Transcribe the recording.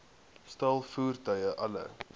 staal voertuie alle